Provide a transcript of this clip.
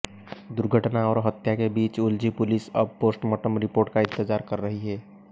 दुघर्टना और हत्या के बीच उलझी पुलिस अब पोस्टमार्टम रिपोर्ट का इंतजार कर रही है